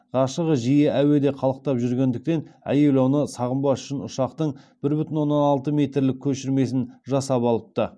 ғашығы жиі әуеде қалықтап жүргендіктен әйел оны сағынбас үшін ұшақтың бір бүтін оннан алты метрлік көшірмесін жасап алыпты